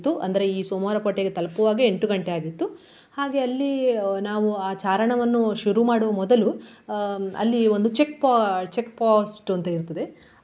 ಅಂದರೆ ಈ ಸೋಮವಾರ ಕೋಟೆಗೆ ತಲುಪುವಾಗೆ ಎಂಟು ಗಂಟೆ ಆಗಿತ್ತು. ಹಾಗೆ ಅಲ್ಲಿ ನಾವು ಆ ಚಾರಣವನ್ನು ಶುರು ಮಾಡುವ ಮೊದಲು ಅಹ್ ಅಲ್ಲಿ ಒಂದು checkpo~ checkpost ಅಂತ ಇರ್ತದೆ.